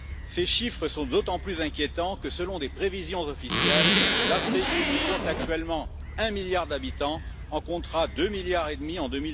Ces chiffres sont d'autant plus inquiétants que, selon des prévisions officielles, l'Afrique, qui compte actuellement un milliard d'habitants, en comptera deux milliards et demi en